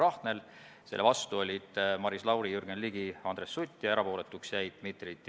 Nagu te ise selgelt välja tõite, Majandus- ja Kommunikatsiooniministeeriumi esindaja ütles, et selle eelnõu arutellu on sihtgrupid kaasatud.